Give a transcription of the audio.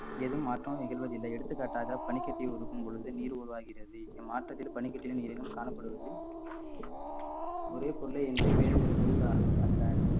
ஏதும் மாற்றம் நிகழ்வதில்லை எடுத்துக்காட்டாக பனிக்கட்டி உருக்கும் பொழுது நீர் உருவாகிறது இந்த மாற்றத்தில் பனிக்கட்டில நீரிலும் காணப்படுவது ஒரே பொருளை இன்றி வேறு வேறு பொருள் அல்~ அல்ல